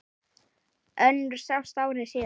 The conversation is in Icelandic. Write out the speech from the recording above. Önnur sást ári síðar.